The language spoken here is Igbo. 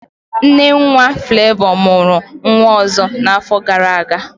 Nnennwa Flevọ mụrụ nwa ọzọ n'afọ gara aga